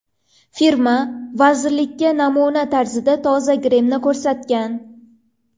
Firma vazirlikka namuna tarzida toza grimni ko‘rsatgan.